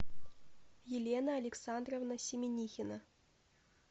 елена александровна семенихина